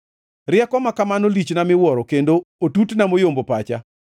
Rieko ma kamano lichna miwuoro, kendo otutna moyombo pacha.